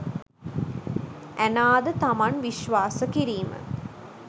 Anna ද තමන් විශ්වාස කිරීම